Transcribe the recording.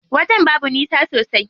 Wajen babu nisa sosai.